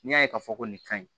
N'i y'a ye k'a fɔ ko nin ka ɲi